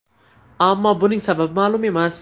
Ammo buning sababi ma’lum emas.